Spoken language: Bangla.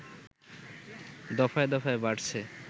দফায় দফায় বাড়ছে